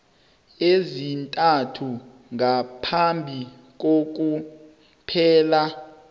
ezintathu ngaphambi kokuphela